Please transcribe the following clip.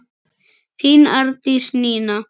Þín Arndís Nína.